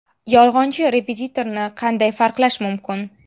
Yolg‘onchi repetitorni qanday farqlash mumkin?